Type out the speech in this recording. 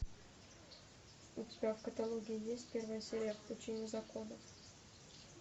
у тебя в каталоге есть первая серия в пучине законов